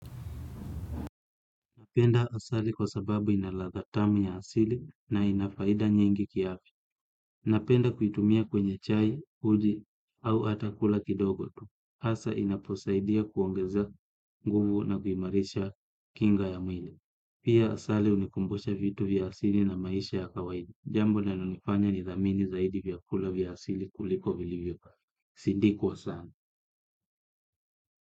Napenda asali kwa sababu ina latha tamu ya asili na ina faida nyingi kiafya. Napenda kuitumia kwenye chai uji au hata kula kidogo tu. Asa inaposaidia kuongeza nguvu na kuimarisha kinga ya mwili. Pia asali unikumbusha vitu vya asili na maisha ya kawaida. Jambo linalonifanya nidhamini zaidi vyakula vya asili kuliko vilivyo. Sindikwa sana.